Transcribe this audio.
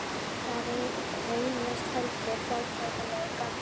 Það reynist heldur fátæklegur garður.